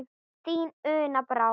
Þín, Una Brá.